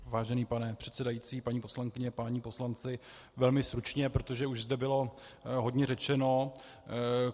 Vážený pane předsedající, paní poslankyně, páni poslanci, velmi stručně, protože už zde bylo hodně řečeno.